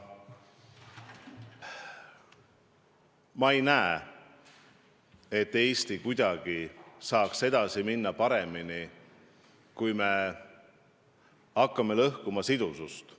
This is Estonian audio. Ma ei näe, et Eesti saaks kuidagi paremini edasi minna, kui me hakkame lõhkuma sidusust.